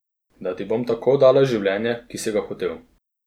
Da ti bom tako dala življenje, ki si ga hotel.